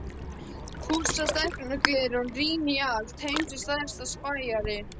Pússa stækkunarglerið og rýni í allt, heimsins stærsti spæjari.